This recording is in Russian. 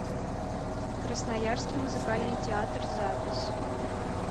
красноярский музыкальный театр запись